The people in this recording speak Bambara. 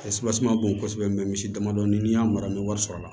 ma bon kosɛbɛ misi damadɔ n'i y'a mara n bɛ wari sɔrɔ a la